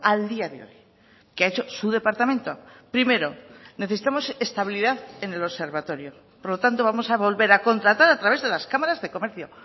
al día de hoy qué ha hecho su departamento primero necesitamos estabilidad en el observatorio por lo tanto vamos a volver a contratar a través de las cámaras de comercio